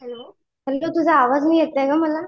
Hello तुझा आवाज नाही येत आहे मला.